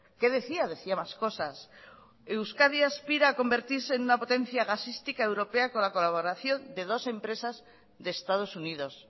qué decía decía más cosas euskadi aspira a convertirse en una potencia gasística europea con la colaboración de dos empresas de estados unidos